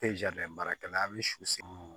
baarakɛla a bi su